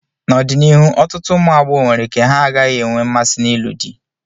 N'ọdịnihu, ọtụtụ ụmụ agbọghọ nwere ike ha gaghị enwe mmasị n'ịlụ di.